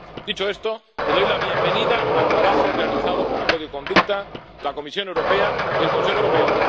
Dicho esto, doy la bienvenida al trabajo realizado por el Grupo Código de conducta, la Comisión Europea y el Consejo Europeo.